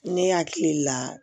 Ne hakili la